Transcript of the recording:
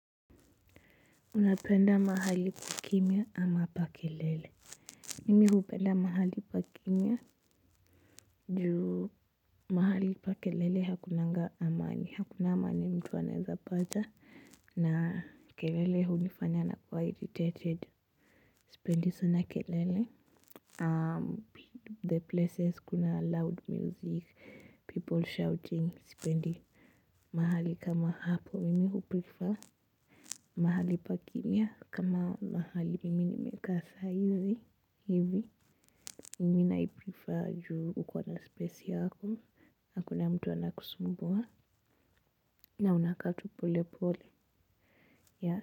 Unapenda mahali kukimya ama pa kelele Mimi hupenda mahali pa kimya juu mahali pa kelele hakunanga amani hakuna amani mtu anaeza pata na kelele hunifanya nakuwa irritated sipendi sana kelele. Um the places kuna loud music people shouting sipendi mahali kama hapo mimi huprifa mahali pakimya kama mahali mimi nimekaa saa hizi hivi mimi naiprifa juu ukona space yako hakuna mtu anakusumbua na unakaa tu pole pole.